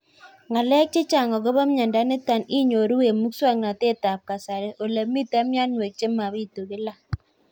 Ng'alek chechang' akopo miondo nitok inyoru eng' muswog'natet ab kasari ole mito mianwek che mapitu kila